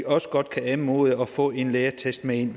også godt kan anmode om at få en lægeattest med ind i